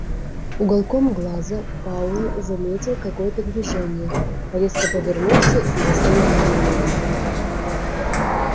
уголком глаза пауэлл заметил какое-то движение резко повернулся и застыл в изумлении